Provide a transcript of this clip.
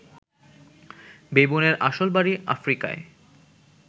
বেবুনের আসল বাড়ি আফ্রিকায়